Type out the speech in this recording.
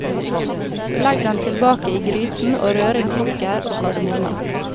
Legg den tilbake i gryten og rør inn sukker og kardemomme.